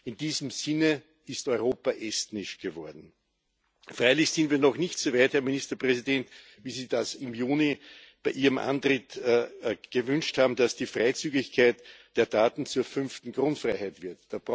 In diesem Sinne ist Europa estnisch geworden. Freilich sind wir noch nicht so weit, HerrMinisterpräsident, wie Sie das im Juni bei Ihrem Antritt gewünscht haben, dass die Freizügigkeit der Daten zur fünften Grundfreiheit wird.